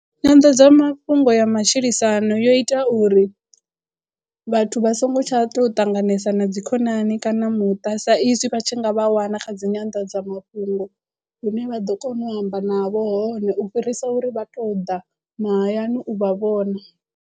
Nyanḓadzamafhungo ya matshilisano yo ita uri vhathu vha songo tsha tou ṱanganesa na dzi khonani kana muṱa sa izwi vha tshi nga vha wana kha dzi nyanḓadzamafhungo lune vha ḓo kona u amba navho hone u fhirisa uri vha to ḓa mahayani u vha vhona.